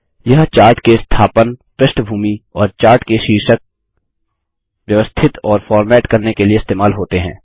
यह चार्ट के स्थापन पृष्ठभूमि और चार्ट के शीर्षक व्यवस्थित और फ़ॉर्मेट करने के लिए इस्तेमाल होते हैं